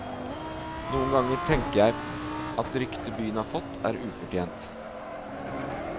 Noen ganger tenker jeg at ryktet byen har fått, er ufortjent.